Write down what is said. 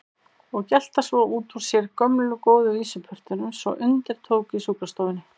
Og gelta svo út úr sér gömlu góðu vísupörtunum svo undir tók á sjúkrastofunni.